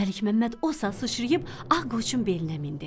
Məlik Məmməd o saat sıçrayıb ağ qoçun belinə mindi.